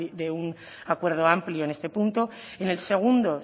de un acuerdo amplio en este punto en el segundo